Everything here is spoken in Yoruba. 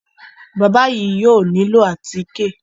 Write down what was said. Bábà yìí yóò nílò àtíkè.